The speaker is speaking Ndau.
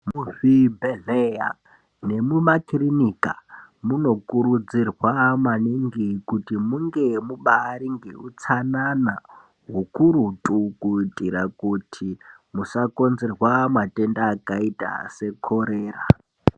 Muzvibhehleya nemumakirinika munokurudzirwa maningi kuti munge mubaari ngeutsanana hukurutu kuitira kuti musakonzerwa matenda akaita sekorera.